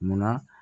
Munna